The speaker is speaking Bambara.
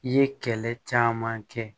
I ye kɛlɛ caman kɛ